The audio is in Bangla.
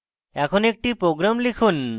এখন একটি program লিখুন